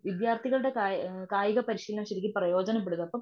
വിദ്ത്യാർത്ഥികളുടെ കായി കായികപരിശീലനം ശരിക്കും പ്രയോജനപെടുമപ്പം.